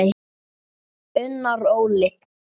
Unnar Óli.